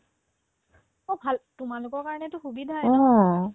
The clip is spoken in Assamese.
অ, ভাল তোমালোকৰ কাৰণেতো সুবিধায়ে